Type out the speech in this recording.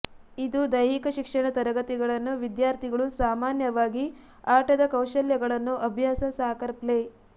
ಇದು ದೈಹಿಕ ಶಿಕ್ಷಣ ತರಗತಿಗಳನ್ನು ವಿದ್ಯಾರ್ಥಿಗಳು ಸಾಮಾನ್ಯವಾಗಿ ಆಟದ ಕೌಶಲ್ಯಗಳನ್ನು ಅಭ್ಯಾಸ ಸಾಕರ್ ಪ್ಲೇ